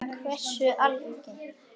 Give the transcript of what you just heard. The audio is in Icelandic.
En hversu algengt er það?